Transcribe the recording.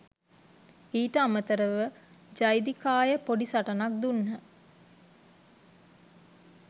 ඊට අමතරව ජෙදිකාය පොඩි සටනක් දුන්න